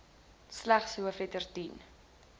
slegs hoofletters dien